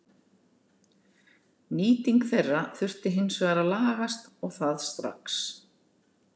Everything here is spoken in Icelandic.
Nýting þeirra þurfi hins vegar að lagast og það strax.